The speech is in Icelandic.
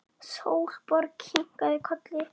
Sólborg kinkaði kolli.